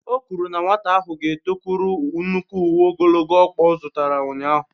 O kwuru na nwata ahụ ga-etokwuru nnukwu uwe ogologo ọkpa ọ zụtara ụnyahụ.